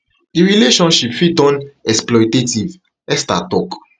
di relationship fit turn exploitative esther tok